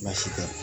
Baasi tɛ